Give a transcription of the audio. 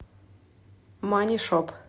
манишоп